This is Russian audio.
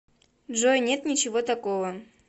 джой нет ничего такого